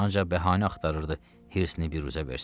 Ancaq bəhanə axtarırdı, hirsini büruzə versin.